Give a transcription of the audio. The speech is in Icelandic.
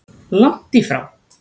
Langt í frá!